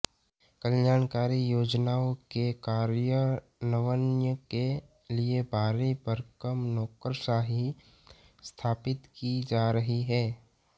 कल्याणकारी योजनाओं के कार्यान्वयन के लिए भारी भरकम नौकरशाही स्थापित की जा रही है